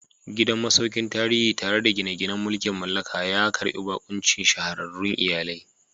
Gidan masaukin tarihi, tare da gine-ginen mulkin mallaka, ya karbi bakuncin shahararrun iyalai.